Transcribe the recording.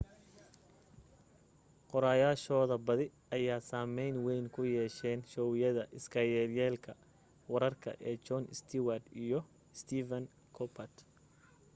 qoraayaashooda badi ayaa saamayn wayn ku yeesheen showyada iska yelyeelka wararka ee jon stewart iyo stephen colbert